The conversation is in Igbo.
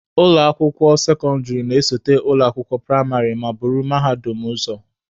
Ụlọ akwụkwọ sekọndịrị na-esote ụlọ akwụkwọ praịmarị ma buru mahadum ụzọ.